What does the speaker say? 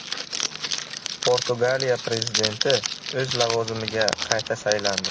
Portugaliya prezidenti o‘z lavozimiga qayta saylandi.